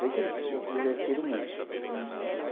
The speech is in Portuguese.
Sei que eles se divertiram muito. Uhum.